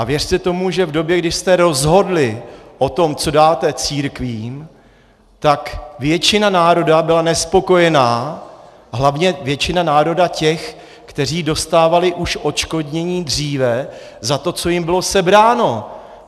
A věřte tomu, že v době, kdy jste rozhodli o tom, co dáte církvím, tak většina národa byla nespokojená, hlavně většina národa těch, kteří dostávali už odškodnění dříve za to, co jim bylo sebráno.